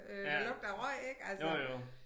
Øh der lugter af røg ik altså